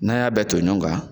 N'an y'a bɛ ton ɲɔn kan